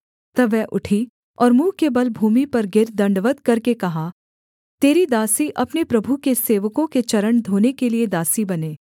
तब वह उठी और मुँह के बल भूमि पर गिर दण्डवत् करके कहा तेरी दासी अपने प्रभु के सेवकों के चरण धोने के लिये दासी बने